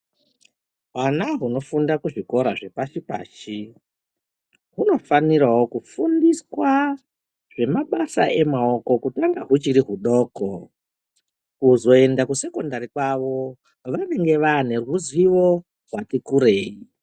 Hwana hunofundira kuzvikora zvepashi pashi, hunofanirawo kufundiswa zvemabasa emaoko kutanga huchiri hudoko, kuzoenda kuma kusekendari kwavo vanenge vane ruzivo rwati kurei.